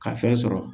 Ka fɛn sɔrɔ